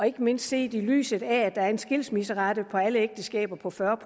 ikke mindst set i lyset af at der er en skilsmisserate for alle ægteskaber på fyrre